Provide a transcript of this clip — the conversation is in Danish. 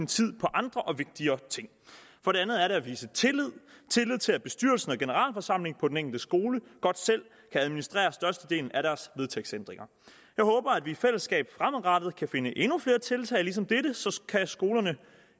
tid på andre og vigtigere ting for det andet er det at vise tillid tillid til at bestyrelsen og generalforsamlingen på den enkelte skole godt selv kan administrere størstedelen af deres vedtægtsændringer jeg håber at vi i fællesskab fremadrettet kan finde endnu flere tiltag som dette så skolerne